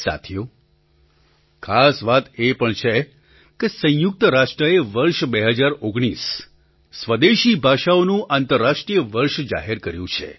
સાથીઓ ખાસ વાત એ પણ છે કે સંયુક્ત રાષ્ટ્રએ વર્ષ ૨૦૧૯ એટલે કે આ વર્ષને સ્વદેશી ભાષાઓનું આંતરરાષ્ટ્રીય વર્ષ જાહેર કર્યું છે